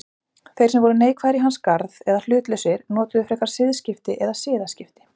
Þeir sem voru neikvæðir í hans garð eða hlutlausir notuðu frekar siðskipti eða siðaskipti.